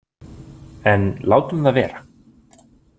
En látum það vera.